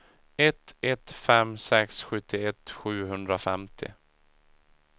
ett ett fem sex sjuttioett sjuhundrafemtio